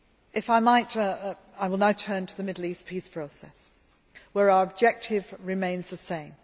If I might, I will now turn to the Middle East peace process where our objective remains the same.